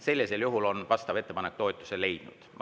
Sellisel juhul on vastav ettepanek toetuse leidnud.